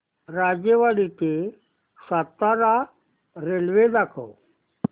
राजेवाडी ते सातारा रेल्वे दाखव